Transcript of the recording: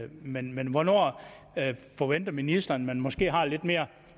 men men hvornår forventer ministeren at man måske har lidt mere